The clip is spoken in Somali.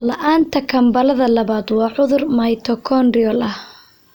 La'aanta kambalada labaad waa cudur mitochondrial ah.